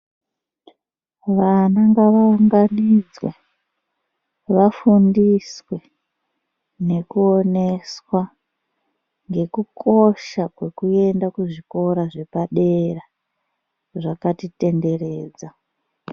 Vana ngavaunganidzwe vafundiswe nekuoneswa nekukosha kwekuenda kuzvikora zvepadera zvakatitenderedza.